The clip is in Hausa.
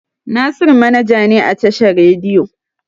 Nasiru manaja ne a tashar rediyo.